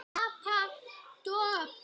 Papa: Dobl.